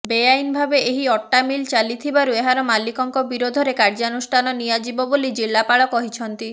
ବେଆଇନ ଭାବେ ଏହି ଅଟା ମିଲ ଚାଲିଥିବାରୁ ଏହାର ମାଲିକଙ୍କ ବିରୋଧରେ କାର୍ଯ୍ୟାନୁଷ୍ଠାନ ନିଆଯିବ ବୋଲି ଜିଲ୍ଲାପାଳ କହିଛନ୍ତି